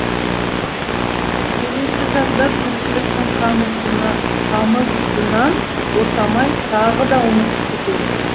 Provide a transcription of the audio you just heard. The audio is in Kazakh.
келесі жазда тіршіліктің қамытынан босамай тағы да ұмытып кетеміз